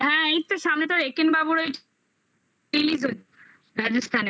হ্যাঁ এইতো সামনে তো রে একেন বাবুর ওই release হচ্ছে রাজস্থানের